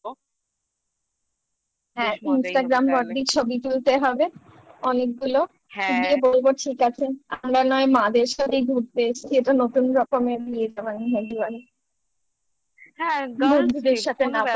হ্যাঁ Instagram ভর্তি ছবি তুলতে হবে অনেকগুলো দিদিকে বলবো ঠিক আছে আমরা নয় মা-দের সাথেই ঘুরতে এসছি এটা নতুন রকমের একদম বন্ধুদের সাথে না ব্যাপারই না